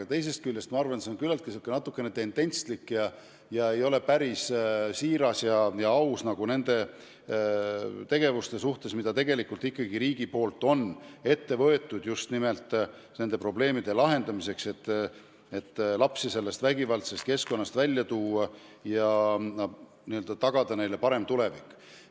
Aga teisest küljest ma arvan, et see on natukene tendentslik ega ole päris aus nende tegevuste suhtes, mida ikkagi riik on ette võtnud just nimelt nende probleemide lahendamiseks, et lapsi vägivaldsest keskkonnast välja tuua ja tagada neile parem tulevik.